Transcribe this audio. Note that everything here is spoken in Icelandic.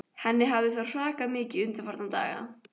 Henni hafði þá hrakað mikið undanfarna daga.